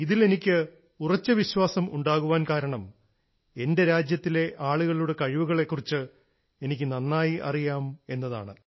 ഇതിൽ എനിക്ക് ഉറച്ച വിശ്വാസം ഉണ്ടാകാൻ കാരണം എന്റെ രാജ്യത്തിലെ ആളുകളുടെ കഴിവുകളെക്കുറിച്ച് എനിക്ക് നന്നായി അറിയാം എന്നതാണ്